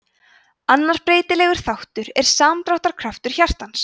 annar breytilegur þáttur er samdráttarkraftur hjartans